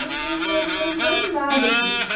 Não tinha dinheiro para ajudar em nada disso.